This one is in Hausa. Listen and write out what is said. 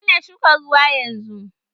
Ba ma shukan ruwa yanzu!